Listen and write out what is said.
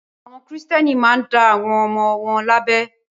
Àwọn Kìrìtẹ́ẹ́nì máa ń dá àwọn ọmọ wọn lábẹ.